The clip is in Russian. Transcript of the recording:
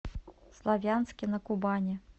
славянске на кубани